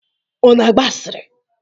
Ọ na-agba asịrị?